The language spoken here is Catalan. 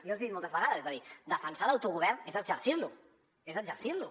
jo els hi he dit moltes vegades és a dir defensar l’autogovern és exercir lo és exercir lo